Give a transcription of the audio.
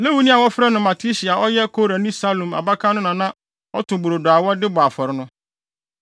Lewini a wɔfrɛ no Matitia a ɔyɛ Korani Salum abakan no na na ɔto brodo a wɔde bɔ afɔre no.